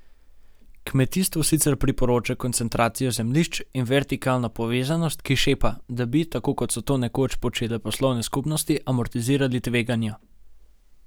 Kmetijstvu sicer priporoča koncentracijo zemljišč in vertikalno povezanost, ki šepa, da bi, tako kot so to nekoč počele poslovne skupnosti, amortizirali tveganja.